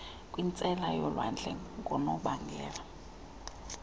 kwintsela yolwandle ngonobangela